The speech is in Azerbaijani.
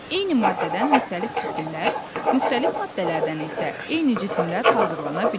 Eyni maddədən müxtəlif cisimlər, müxtəlif maddələrdən isə eyni cisimlər hazırlana bilər.